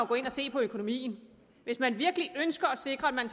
gå ind og se på økonomien hvis man virkelig ønsker at sikre at man